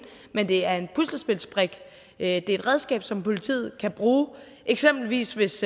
men det er en puslespilsbrik det er et redskab som politiet kan bruge eksempelvis hvis